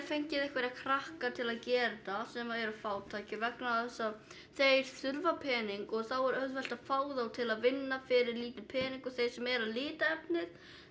fengið einhverja krakka til að gera þetta sem eru fátækir vegna þess að þeir þurfa pening og þá er auðvelt að fá þá til að vinna fyrir lítinn pening og þeir sem eru að lita efnið